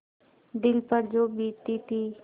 दिल पर जो बीतती थी